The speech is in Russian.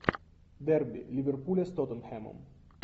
дерби ливерпуля с тоттенхэмом